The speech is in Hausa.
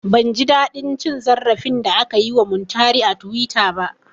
Ban ji daɗin cin zarafin da aka yi wa Muntari a tuwita ba